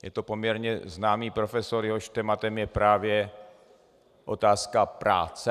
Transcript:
Je to poměrně známý profesor, jehož tématem je právě otázka práce.